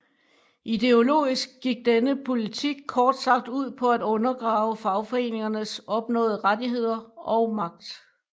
Ideologisk gik denne politik kort sagt ud på at undergrave fagforeningernes opnåede rettigheder og magt